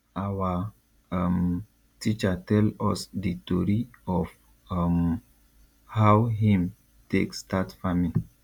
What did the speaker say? awa um teacher tell us di tori of um how him take start farming